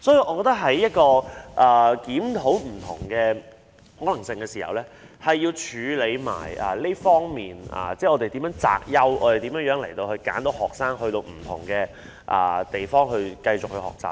我們在檢討不同的可能性時，需要注意處理擇優的問題，以揀選學生到不同的地方繼續學習。